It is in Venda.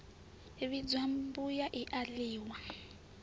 vhidzwa mbuyu i a ḽiwa